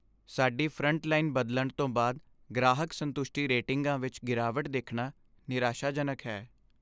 ਸਾਡੀ ਫਰੰਟਲਾਈਨ ਬਦਲਣ ਤੋਂ ਬਾਅਦ ਗ੍ਰਾਹਕ ਸੰਤੁਸ਼ਟੀ ਰੇਟਿੰਗਾਂ ਵਿੱਚ ਗਿਰਾਵਟ ਦੇਖਣਾ ਨਿਰਾਸ਼ਾਜਨਕ ਹੈ।